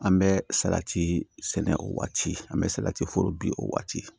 An bɛ salati sɛnɛ o waati an bɛ salati foro bin o waati